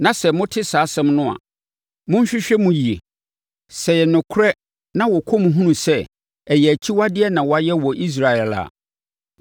sɛ mote saa asɛm no a, monhwehwɛ mu yie. Sɛ ɛyɛ nokorɛ na wɔkɔ mu hunu sɛ ɛyɛ akyiwadeɛ na wayɛ wɔ Israel a,